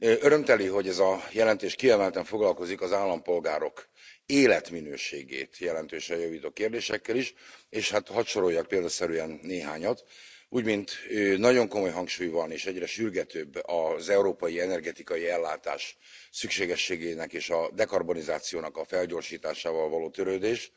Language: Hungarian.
Örömteli, hogy ez a jelentés kiemelten foglalkozik az állampolgárok életminőségét jelentősen javító kérdésekkel is, és hát hadd soroljak példaszerűen néhányat, úgymint nagyon komoly hangsúly van és egyre sürgetőbb az európai energetikai ellátás szükségességének és a dekarbonizációnak a felgyorsításával való törődés.